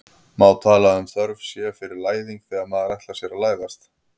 Má tala um þörf sé fyrir læðing þegar maður ætlar sér að læðast?